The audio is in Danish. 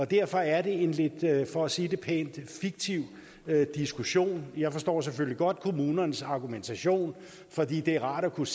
derfor er det en lidt for at sige det pænt fiktiv diskussion jeg forstår selvfølgelig godt kommunernes argumentation fordi det er rart at kunne